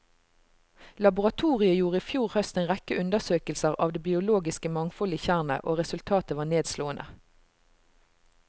Laboratoriet gjorde i fjor høst en rekke undersøkelser av det biologiske mangfoldet i tjernet, og resultatet var nedslående.